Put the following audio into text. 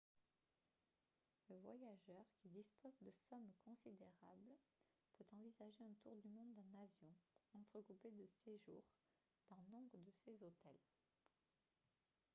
le voyageur qui dispose de sommes considérables peut envisager un tour du monde en avion entrecoupé de séjours dans nombre de ces hôtels